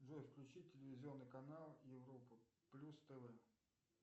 джой включи телевизионный канал европа плюс тв